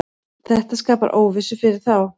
Þetta skapar óvissu fyrir þá.